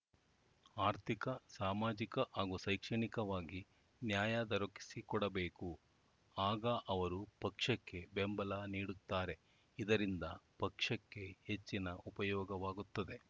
ಆರ್ಥಿಕ ಸಾಮಾಜಿಕ ಹಾಗೂ ಶೈಕ್ಷಣಿಕವಾಗಿ ನ್ಯಾಯ ದೊರಕಿಸಿಕೊಡಬೇಕು ಆಗ ಅವರು ಪಕ್ಷಕ್ಕೆ ಬೆಂಬಲ ನೀಡುತ್ತಾರೆ ಇದರಿಂದ ಪಕ್ಷಕ್ಕೆ ಹೆಚ್ಚಿನ ಉಪಯೋಗವಾಗುತ್ತದೆ